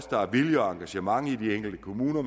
der er vilje og engagement i de enkelte kommuner